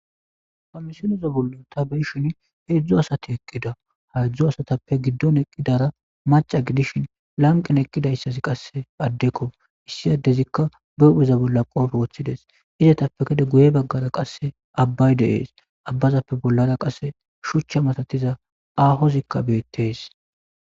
Ha misileza bollon ta beyshin heedzdzu asati eqqida haedzdzu asatappe giddon eqqidara maca gidishin lanqin eqqidayssazi qasse addekko issi addezikka beupheza bolla qofe woththides izetappe kede guye baggara qasse abbay deees abbazappe bollara qasse shuchcha matatiza ahozikka beettees